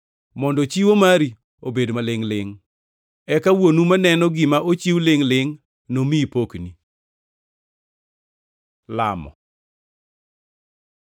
mondo chiwo mari obed malingʼ-lingʼ. Eka Wuonu maneno gima ochiw lingʼ-lingʼ nomiyi pokni. Lamo